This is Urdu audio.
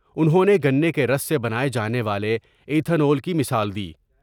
انہوں نے گنے کے رس سے بناۓ جانے والے عیتھونل کی مثال دی ۔